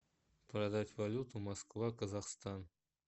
продать валюту москва казахстан